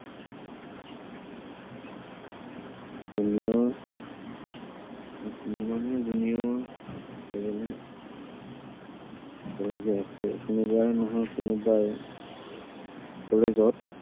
জীৱনত এজনীও এজনীও প্ৰেয়সী আছেই। কোনোবাই নহয় কোনোবাই college ত